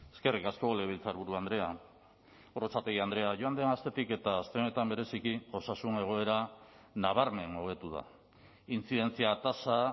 eskerrik asko legebiltzarburu andrea gorrotxategi andrea joan den astetik eta aste honetan bereziki osasun egoera nabarmen hobetu da intzidentzia tasa